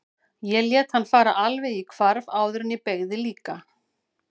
Ég lét hann fara alveg í hvarf áður en ég beygði líka.